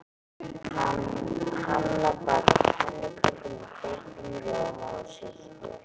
Hanna bakar pönnukökur með þeyttum rjóma og sultu.